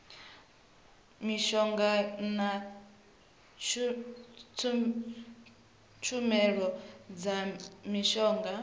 mishonga na tshumelo dza mishonga